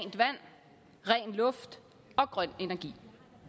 luft og grøn energi